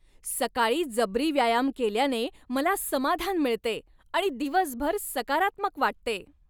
सकाळी जबरी व्यायाम केल्याने मला समाधान मिळते आणि दिवसभर सकारात्मक वाटते.